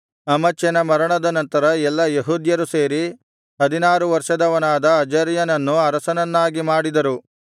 ಅಮಚ್ಯನ ಮರಣದ ನಂತರ ಎಲ್ಲಾ ಯೆಹೂದ್ಯರು ಸೇರಿ ಹದಿನಾರು ವರ್ಷದವನಾದ ಅಜರ್ಯನನ್ನು ಅರಸನನ್ನಾಗಿ ಮಾಡಿದರು